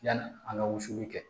Yani an ka wusuli kɛ